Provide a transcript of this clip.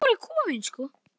Hika ekki við það.